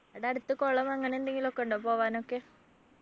ആടെ അടുത്ത് കുളം അങ്ങനെ എന്തെങ്കിലും ഒക്കെ ഉണ്ടോ പോകാനൊക്കെ